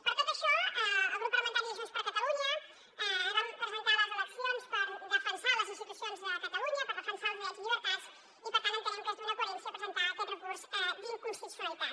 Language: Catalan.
per tot això el grup parlamentari de junts per catalunya ens vam presentar a les eleccions per defensar les institucions de catalunya per defensar els drets i llibertats i per tant entenem que és d’una coherència presentar aquest recurs d’inconstitucionalitat